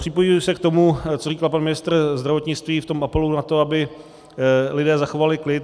Připojuji se k tomu, co říkal pan ministr zdravotnictví v tom apelu na to, aby lidé zachovali klid.